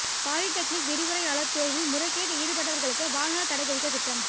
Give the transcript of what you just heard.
polytechnic விரிவுரையாளர் தேர்வில் முறைகேட்டில் ஈடுபட்டவர்களுக்கு வாழ்நாள் தடை விதிக்க திட்டம்